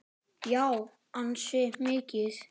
Já, ansi mikið.